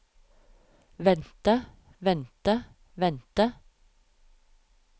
vente vente vente